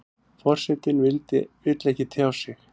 Forsetinn vill ekki tjá sig